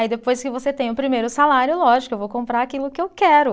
Aí, depois que você tem o primeiro salário, lógico, eu vou comprar aquilo que eu quero.